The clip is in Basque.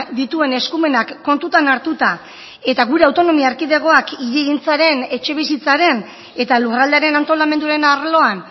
dituen eskumenak kontutan hartuta eta gure autonomia erkidegoak hirigintzaren etxebizitzaren eta lurraldearen antolamenduaren arloan